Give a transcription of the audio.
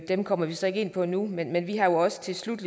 dem kommer vi så ikke ind på nu men vi har jo også til slut